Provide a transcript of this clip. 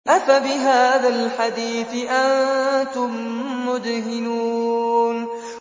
أَفَبِهَٰذَا الْحَدِيثِ أَنتُم مُّدْهِنُونَ